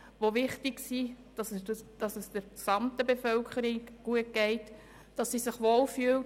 Es ist wichtig, dass es der gesamten Bevölkerung gut geht und sie sich wohlfühlt.